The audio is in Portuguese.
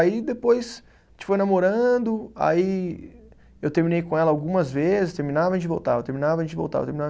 Aí depois a gente foi namorando, aí eu terminei com ela algumas vezes, terminava a gente voltava, terminava a gente voltava, terminava.